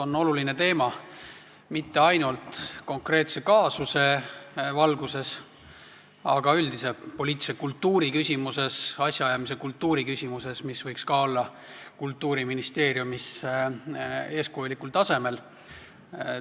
See on oluline teema mitte ainult konkreetse kaasuse valguses, vaid ka üldise poliitilise kultuuri küsimuses, asjaajamise kultuuri küsimuses, mis võiks olla Kultuuriministeeriumis eeskujulikul tasemel.